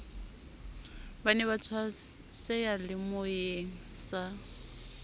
ba ne ba tswaseyalemoyeng sa